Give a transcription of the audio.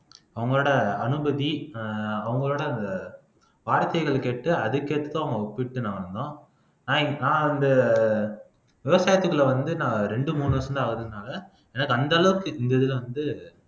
அவங்களோட அனுமதி அஹ் அவங்களோட அந்த வார்த்தைகள் கேட்டு அதுக்கேத்து அவங்க ஒப்பிட்டு நடந்தோம் ஆஹ் நான் அந்த விவசாயத்துக்குள்ள வந்து நான் ரெண்டு மூணு வருஷம்தான் ஆகுதுனால எனக்கு அந்த அளவுக்கு இந்த இதுல வந்து